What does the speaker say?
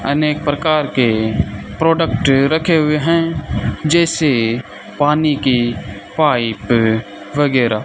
अनेक प्रकार के प्रोडक्ट रखे हुए है जैसे पानी की पाइप वगैरा --